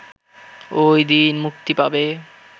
ওই দিন মুক্তি পাবে